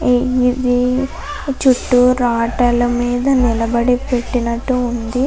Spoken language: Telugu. ఇది చుట్టూ రాటల మీద నిలబడి పెట్టినట్టు ఉంది.